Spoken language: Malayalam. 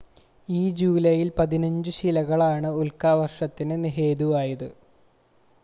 ഈ ജൂലൈയിൽ പതിനഞ്ചു ശിലകളാണ് ഉൽക്കാവർഷത്തിന് ഹേതുവായത്